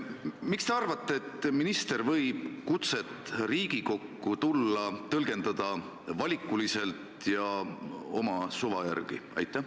Miks te arvate, et minister võib kutseid Riigikokku tõlgendada valikuliselt ja oma suva järgi?